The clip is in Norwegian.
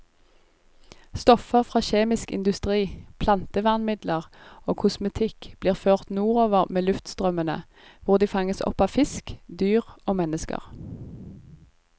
Stoffer fra kjemisk industri, plantevernmidler og kosmetikk blir ført nordover med luftstrømmene, hvor de fanges opp av fisk, dyr og mennesker.